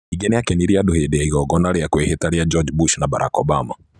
Ningĩ nĩ aakenirie andũ hĩndĩ ya igongona rĩa kwĩhĩta rĩa George Bush na Barack Obama.